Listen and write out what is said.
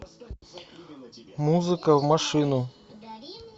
музыка в машину